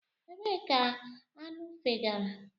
Ebee ka aṅụ fegara?